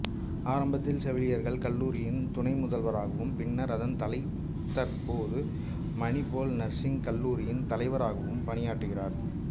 ஆரம்பத்தில் செவிலியர் கல்லூரியின் துணை முதல்வராகவும் பின்னர் அதன் தலைதற்போது மணிபால் நர்சிங் கல்லூரியின் தலைவராகவும் பணியாற்றுகிறார்